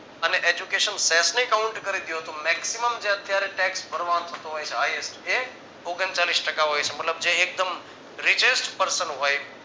અને Education સેલની Count` કરી દ્યો તો maximum જે અત્યારે tax થતું હોય છે hightest એ ઓગણચાલીશ ટકા હોય છે મતલબ જે એકદમ richest person હોય